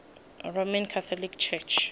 roman catholic church